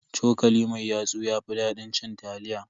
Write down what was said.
Cokali mai yatsu ya fi dadin cin taliya.